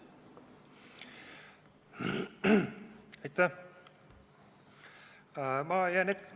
Aitäh!